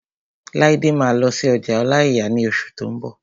Laide máa lọ sí ọjà ọláìyà ní oṣù tó n bọ̀